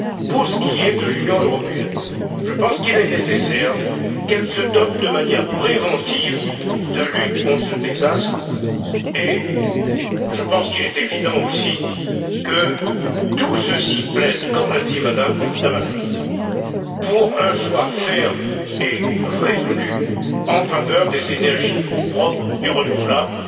Pour ce qui est de l'Union européenne, je pense qu'il est nécessaire qu'elle se dote de moyens préventifs de lutte contre ce type de désastre, et je pense qu'il est évident aussi que tout ceci plaide, comme l'a dit Mme Damanaki, pour un choix ferme et résolu en faveur des énergies propres et renouvelables.